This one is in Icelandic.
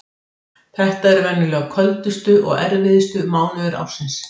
Þetta eru venjulega köldustu og erfiðustu mánuðir ársins.